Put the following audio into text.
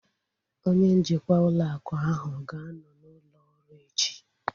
Onye njikwa ụlọ akụ ahu ga-anọ n'ụlọ ọrụ echi